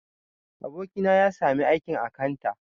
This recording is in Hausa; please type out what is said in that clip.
Abokina ya sami aikin akanta